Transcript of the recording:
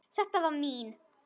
Þetta var mín.